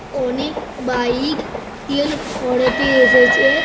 অনেক বাইক তেল ভরাতে এসেছে-এ।